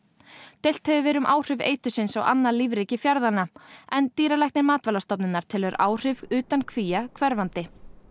deilt hefur verið um áhrif á annað lífríki í en dýralæknir Matvælastofnunar telur áhrif utan kvía hverfandi